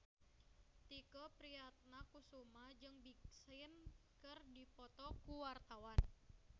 Tike Priatnakusuma jeung Big Sean keur dipoto ku wartawan